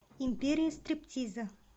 империя стриптиза